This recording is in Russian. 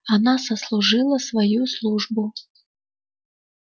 она сослужила свою службу